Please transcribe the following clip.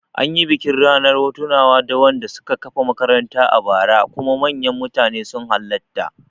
Anyi bikin Ranar tunawa da wanda suka kafa makarantar a bara kuma manyan mutane sun halatta